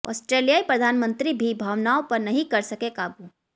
आस्ट्रेलियाई प्रधानमंत्री भी भावनाओं पर नहीं कर सके काबू